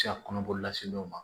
Se ka kɔnɔboli lase dɔw ma